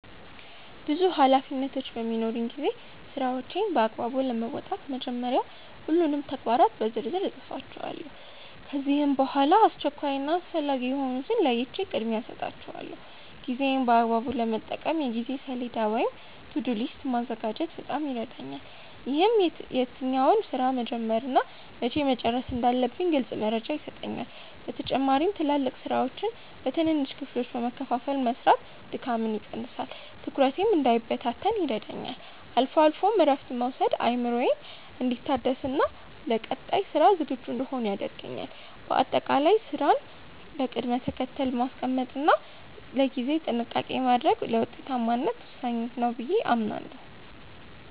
ብዙ ኃላፊነቶች በሚኖሩኝ ጊዜ ስራዎቼን በአግባቡ ለመወጣት መጀመሪያ ሁሉንም ተግባራት በዝርዝር እጽፋቸዋለሁ። ከዚያም በጣም አስቸኳይ እና አስፈላጊ የሆኑትን ለይቼ ቅድሚያ እሰጣቸዋለሁ። ጊዜዬን በአግባቡ ለመጠቀም የጊዜ ሰሌዳ ወይም "To-do list" ማዘጋጀት በጣም ይረዳኛል። ይህም የትኛውን ስራ መቼ መጀመር እና መቼ መጨረስ እንዳለብኝ ግልጽ መረጃ ይሰጠኛል። በተጨማሪም ትላልቅ ስራዎችን በትንንሽ ክፍሎች በመከፋፈል መስራት ድካምን ይቀንሳል፤ ትኩረቴም እንዳይበታተን ይረዳኛል። አልፎ አልፎም እረፍት መውሰድ አእምሮዬ እንዲታደስና ለቀጣይ ስራ ዝግጁ እንድሆን ያደርገኛል። በአጠቃላይ ስራን በቅደም ተከተል ማስቀመጥ እና ለጊዜ ጥንቃቄ ማድረግ ለውጤታማነት ወሳኝ ነው ብዬ አምናለሁ።